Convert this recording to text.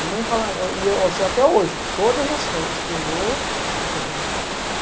Minha mãe fala... Até hoje, todas as férias que eu vou, essa violência persista.